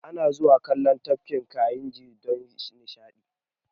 Ana zuwa kallon Tafkin Kayinji don nishaɗi